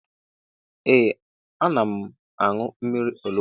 Ee ana m añụ mmiri onugbo